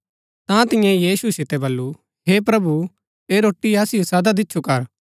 ता तियें यीशु सितै बल्लू हे प्रभु ऐह रोटी असिओ सदा दिच्छु कर